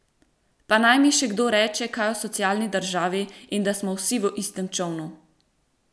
Pa naj mi še kdo reče kaj o socialni državi in da smo vsi v istem čolnu!